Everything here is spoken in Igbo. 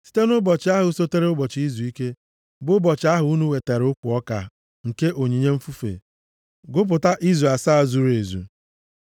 “ ‘Site nʼụbọchị ahụ sotere ụbọchị izuike, bụ ụbọchị ahụ unu wetara ukwu ọka nke onyinye mfufe, gụpụta izu asaa zuru ezu.